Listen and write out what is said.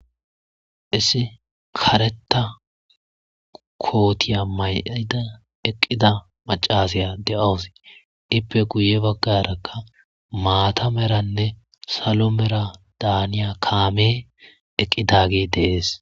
issi kareta kootiya mayida eqqida macazaya de7awus ippe guye baggarakka maatameranne salo mera daaniya kaame eqqidagi deees